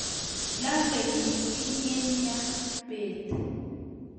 lolei mising eng' ya beet